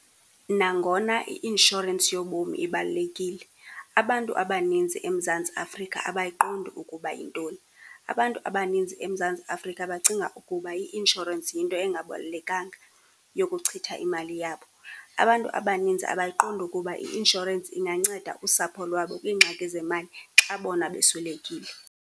Nangona i-insurance yobomi ibalulekile, abantu abaninzi eMzantsi Afrika abayiqondi ukuba yintoni. Abantu abaninzi eMzantsi Afrika bacinga ukuba i-insurance yinto engabalulekanga yokuchitha imali yabo. Abantu abaninzi abayiqondi ukuba i-insurance inganceda usapho lwabo kwiingxaki zemali xa bona beswelekile.